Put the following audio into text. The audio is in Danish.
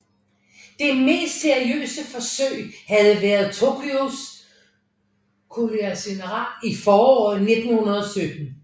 Det mest seriøse forsøg havde været Tokois koalitionssenat i foråret 1917